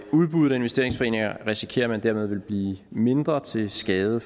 udbuddet af investeringsforeninger risikerer man dermed ville blive mindre til skade